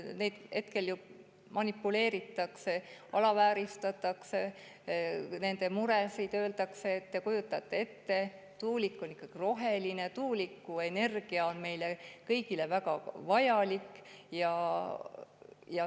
Nendega ju manipuleeritakse, alavääristatakse nende muresid, öeldakse, et nad kujutavad kõike vaid ette, tuulik on ikkagi roheline, tuulikuenergia on meile kõigile väga vajalik.